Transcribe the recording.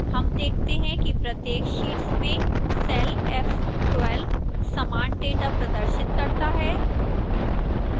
हम देखते हैं कि प्रत्येक शीट्स में cell f12 समान data प्रदर्शित करता है